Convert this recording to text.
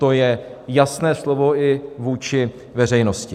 To je jasné slovo i vůči veřejnosti.